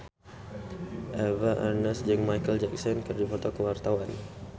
Eva Arnaz jeung Micheal Jackson keur dipoto ku wartawan